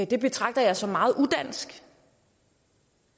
det betragter jeg som meget udansk